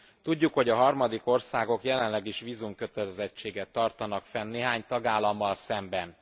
Tudjuk, hogy harmadik országok jelenleg is vízumkötelezettséget tartanak fenn néhány tagállammal szemben.